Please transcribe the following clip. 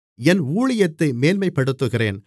என் ஊழியத்தை மேன்மைப்படுத்துகிறேன்